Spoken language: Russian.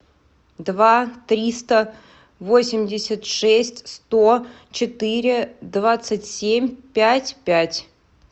два триста восемьдесят шесть сто четыре двадцать семь пять пять